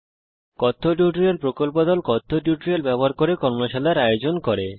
কথ্য টিউটোরিয়াল প্রকল্প দল কথ্য টিউটোরিয়াল ব্যবহার করে কর্মশালার ও আয়োজন করে